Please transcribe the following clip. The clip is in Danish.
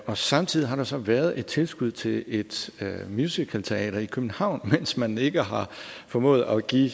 og samtidig har der så været et tilskud til et musicalteater i københavn mens man ikke har formået at give